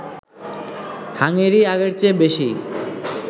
Hungary আগের চেয়ে বেশি